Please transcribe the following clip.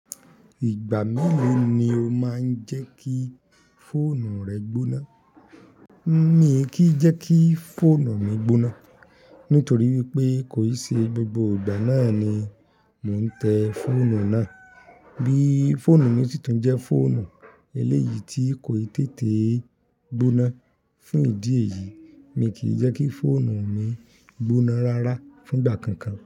Ìgbà mélòó ni o máa ń jẹ́ kí fóònù rẹ gbóná? Mi kì í jẹ́ kí fóònù mi gbóná, nítorí wípé kò ì ṣe gbogbo ìgbà náà ni mò ń tẹ fóònù náà. Bí fóònù mi sì tún jẹ́ fóònù eléyìí tí kò ì tètè gbóná, fún ìdí èyí, mi kì í jẹ́ kí fóònù mi gbóná rárá fún ìgbà kankan.